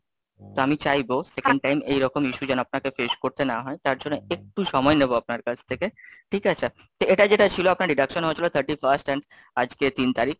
তো আমি চাইবো Second time এইরকম issue যেন আপনাকে face করতে না হয়, তার জন্য একটু সময় নেবো আপনার কাছ থেকে, ঠিক আছে, তো এটা যেটা ছিল আপনার deduction হয়েছিল thirty first and আজকে তিন তারিখ,